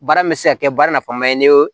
Baara min bɛ se ka kɛ baara nafama ye ne ye